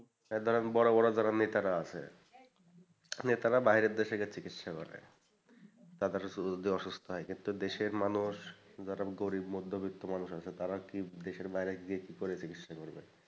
ধরেন বড়ো বড়ো যারা নেতার আছে নেতারা বাইরের দেশে গিয়ে চিকিৎসা করে তাদের শরীর যদি অসুস্থ হয়, কিন্তু দেশের মানুষ যারা গরীব মধ্যবিত্ত মানুষ আছে তারা কি দেশের বাইরে গিয়ে কি করে চিকিৎসা করবে।